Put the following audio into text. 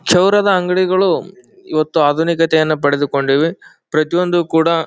ಕ್ಷೌರದ ಅಂಗಡಿಗಳು ಇವತ್ತು ಆಧುನಿಕತೆಯನ್ನು ಪಡೆದುಕೊಂಡಿವೆ ಪ್ರತಿಯೊಂದು ಕೂಡ --